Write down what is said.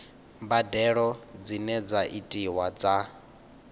mbadelo dzine dza itiwa dza